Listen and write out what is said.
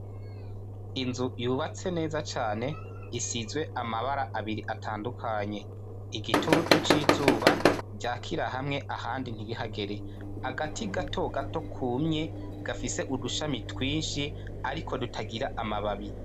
Inzu yubatse neza cane, isizwe amabara abiri atandukanye, igitutu c'izuba ryakira hamwe ahandi ntibihagere ,agati gato gato kumye gafise udushami twinshi ariko dutagira amababi.